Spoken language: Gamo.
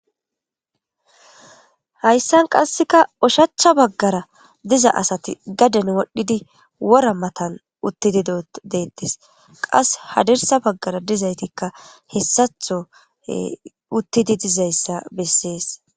Hayssan qasseka ushachcha baggara diza asati gadin wodhdhidi wora matan uttidido deettes qas hadirsa baggara dizaytikka hessatho uttidi dizayssa bessees.